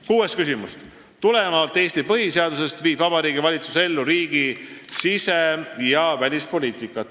Kuues küsimus: "Tulenevalt Eesti Põhiseadusest viib vabariigi valitsus ellu riigi sise- ja välispoliitikat.